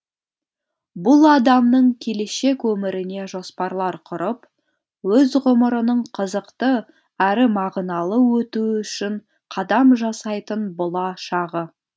бұл адамның келешек өміріне жоспарлар құрып өз ғұмырының қызықты әрі мағыналы өтуі үшін қадам жасайтын бұла шағы